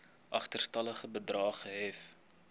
agterstallige bedrae gehef